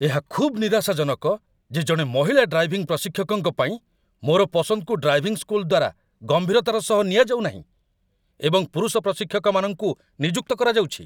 ଏହା ଖୁବ୍ ନିରାଶାଜନକ ଯେ ଜଣେ ମହିଳା ଡ୍ରାଇଭିଂ ପ୍ରଶିକ୍ଷକଙ୍କ ପାଇଁ ମୋର ପସନ୍ଦକୁ ଡ୍ରାଇଭିଂ ସ୍କୁଲ୍‌ ଦ୍ୱାରା ଗମ୍ଭୀରତାର ସହ ନିଆଯାଉନାହିଁ, ଏବଂ ପୁରୁଷ ପ୍ରଶିକ୍ଷକମାନଙ୍କୁ ନିଯୁକ୍ତ କରାଯାଉଛି